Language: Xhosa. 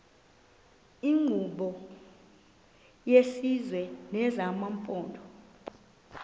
iinkqubo zesizwe nezamaphondo